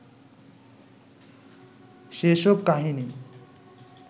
সেসব কাহিনী